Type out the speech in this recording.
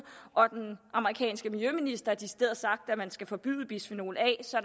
og at den amerikanske miljøminister har sagt at man decideret skal forbyde bisfenol a så